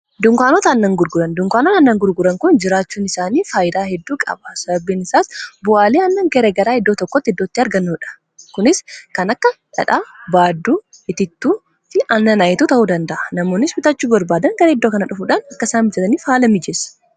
dunkaanota aannan gurguran dunkaanota annan gurguran kun jiraachuun isaanii faayidaa hedduu qaba sabinisaas bu'aalee aannan gara garaa iddoo tokkoti iddootti argmuudha kunis kan akka dhadhaa, baaduu, itittuu fi annan itittuu ta'uu danda'a namoonnis bitachuu barbaadan gara iddoo kana dhufuudhaan akka isaan mijjataniif haala mijeessa